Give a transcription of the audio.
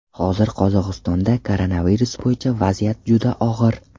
Hozir Qozog‘istonda koronavirus bo‘yicha vaziyat juda og‘ir.